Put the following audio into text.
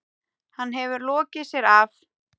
Hann hefur lokið sér af.